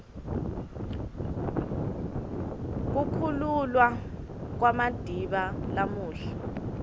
kukhululwa kwamadiba lamuhla